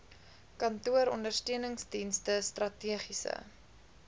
kantooronder steuningsdienste strategiese